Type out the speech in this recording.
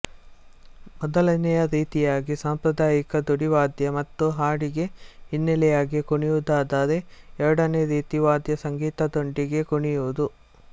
ಮೊದಲನೆಯ ರೀತಿಯಾಗಿ ಸಾಂಪ್ರದಾಯಿಕ ದುಡಿವಾದ್ಯ ಮತ್ತು ಹಾಡಿಗೆ ಹಿನ್ನೆಲೆಯಾಗಿ ಕುಣಿಯುವುದಾದರೆ ಎರಡನೆಯ ರೀತಿ ವಾದ್ಯ ಸಂಗೀತದೊಂದಿಗೆ ಕುಣಿಯುವುದು